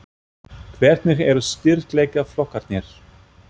Hvernig eru styrkleikaflokkarnir?